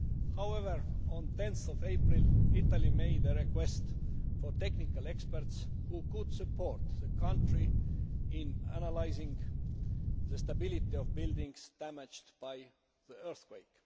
However, on 10 April Italy made a request for technical experts who could support the country in analysing the stability of buildings damaged by the earthquake.